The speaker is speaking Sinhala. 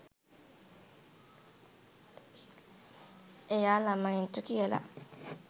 එයා ළමයින්ට කියල